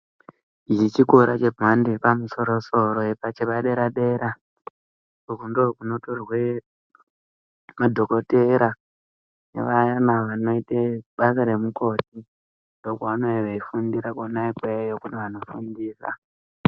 Ichi chikora chemhando yepamusoro-soro, chepadera-dera. Ukundiko kunotorwe madhogodheya nevayana vanoite basa remukoti. Ndikokwevanenge veifundira kona ikweyo. Ndiko kune antu anofundisa.